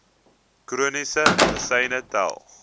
chroniese medisyne tel